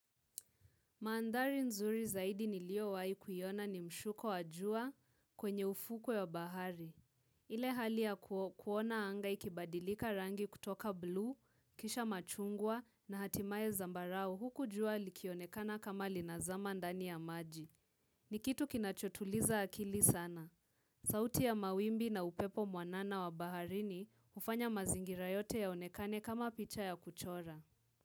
Mandhari nzuri zaidi niliowahi kuiona ni mshuko wa jua kwenye ufuku wa bahari. Ile hali ya kuona anga ikibadilika rangi kutoka buluu, kisha machungwa na hatimaye zambarau huku jua likionekana kama linazama ndani ya maji. Ni kitu kinachotuliza akili sana. Sauti ya mawimbi na upepo mwanana wa bahari hufanya mazingira yote yaonekane kama picha ya kuchora.